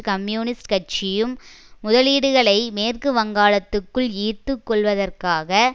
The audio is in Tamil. கம்யூனிஸ்ட் கட்சியும் முதலீடுகளை மேற்கு வங்காளத்துக்குள் ஈர்த்து கொள்வதற்காக